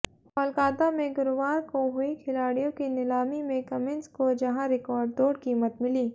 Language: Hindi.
कोलकाता में गुरुवार को हुई खिलाड़ियों की नीलामी में कमिंस को जहां रिकॉर्डतोड़ कीमत मिली